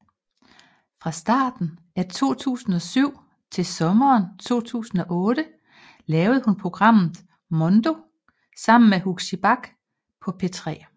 Fra starten af 2007 til sommeren 2008 lavede hun programmet Mondo sammen med Huxi Bach på P3